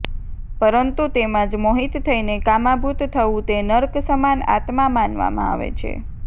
પરંતુ તેમાં જ મોહિત થઈને કામાંભુત થવું તે નર્ક સમાન આત્મા માનવામાં આવે છે